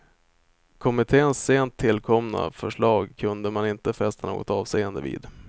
Kommittens sent tillkomna förslag kunde man inte fästa något avseende vid.